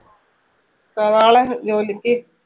നാളെ ജോലിക്ക്?